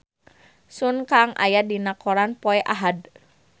Sun Kang aya dina koran poe Ahad